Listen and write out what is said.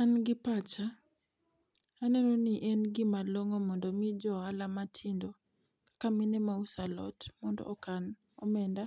An gi pacha, aneno ni en gi ma long'o mondo owinj ohala matindo ka mine ma uso alot mondo okan omenda